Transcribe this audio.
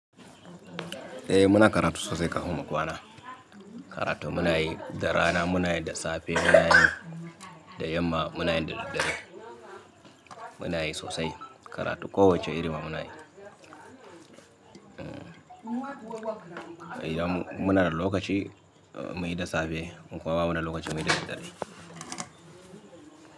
Eh muna karatu sosai kafin mu kwana. Karatu muna yi da rana, muna yi da safe, muna yi da yamma, muna yi da daddare. Muna yi sosai karatu kowacce irima muna yi. Idan muna da lokaci muyi da safe in kuma ba muda lokaci muyi da daddare.